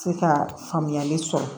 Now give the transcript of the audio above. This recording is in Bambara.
Se ka faamuyali sɔrɔ